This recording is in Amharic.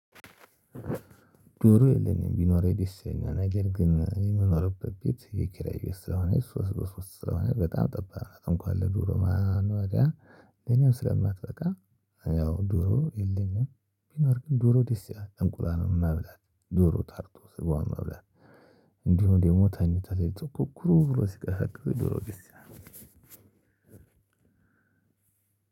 ዶሮ የለኝም ቢኖር ደስ የለኝም ነገር ግን የምኖርበት ቤት የኪራይ ስለሆነ ሶስት በሶስት በጣም ጠባብ ነው እንኳን ለዱሮ ማኖሪያ ለኔም ስለማትበቃ። ያው ዱሮ የለኝም ቢኖር ግን ዶሮ ደስ ያለ እንቁላልም መብላት፣ ዶሮ ታርዶ ስገዋን መብላት። ደግሞ ተኝተህ ሌሊኢት ኩኩ ብሎ ሲቀሳቅስ ድሮ ደስ ይላል።